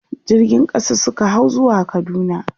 jirgin ƙasa Suka hau zuwa kaduna